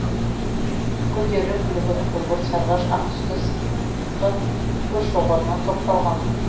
гүлдері күлгін күңгірт сарғыш ақ түсті сыпыртқы гүлшоғырына топталған